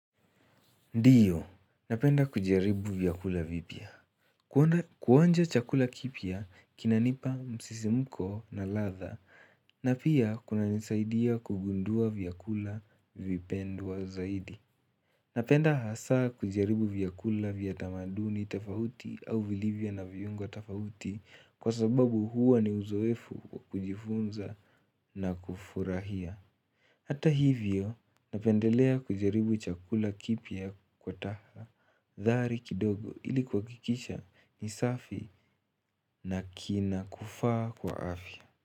Ndiyo, napenda kujaribu vyakula vipya. Kuonja chakula kipya, kinanipa msisimko na ladha na pia kunanisaidia kugundua vyakula vipendwa zaidi. Napenda hasa kujaribu vyakula vya tamaduni tafauti au vilivyo na viungo tafauti kwa sababu huwa ni uzoefu wa kujifunza na kufurahia. Hata hivyo, napendelea kujaribu chakula kipya kwa taha. Dhari kidogo ili kuhakikisha ni safi na kinakufaa kwa afya.